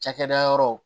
Cakɛda yɔrɔ